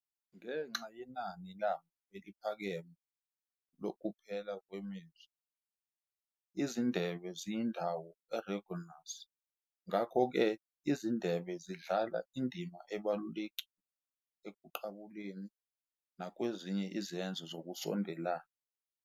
Ngenxa yenani labo eliphakeme lokuphela kwemizwa, izindebe ziyindawo erogenous. Ngakho-ke izindebe zidlala indima ebalulekile ekuqabuleni nakwezinye izenzo zokusondelana.